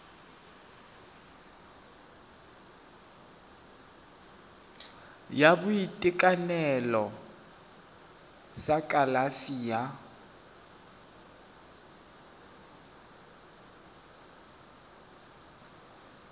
sa boitekanelo sa kalafi ya